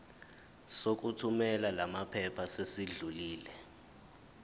sokuthumela lamaphepha sesidlulile